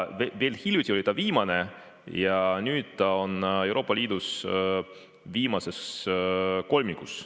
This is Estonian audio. Veel hiljuti oli ta viimane, nüüd on Euroopa Liidus viimases kolmikus.